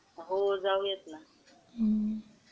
हो जाऊयात ना.